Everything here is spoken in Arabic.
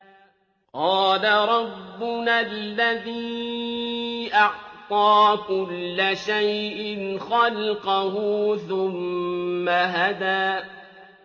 قَالَ رَبُّنَا الَّذِي أَعْطَىٰ كُلَّ شَيْءٍ خَلْقَهُ ثُمَّ هَدَىٰ